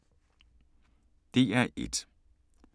DR1